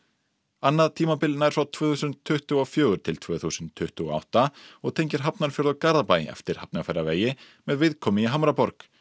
annað tímabil nær frá tvö þúsund tuttugu og fjögur til tvö þúsund tuttugu og átta og tengir Hafnarfjörð og Garðabæ eftir Hafnarfjarðarvegi með viðkomu í Hamraborg